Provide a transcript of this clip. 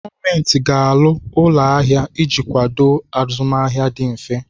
Gọọmenti ga-arụ ụlọ ahịa iji kwado azụmahịa dị mfe.